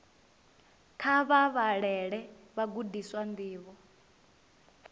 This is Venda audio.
kha vha vhalele vhagudiswa ndivho